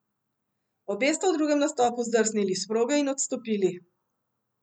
Obe sta v drugem nastopu zdrsnili s proge in odstopili.